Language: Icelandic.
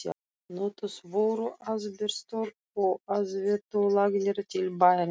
Notuð voru asbeströr í aðveitulagnir til bæjarins.